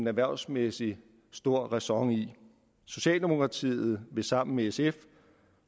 erhvervsmæssig stor ræson i socialdemokratiet vil sammen med sf